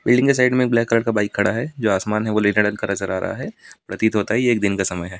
Building की side में black colour का बाइक खड़ा है जो आसमान है वो नीले रंग का नजर आ रहा है प्रतीत होता है यह एक दिन का समय है।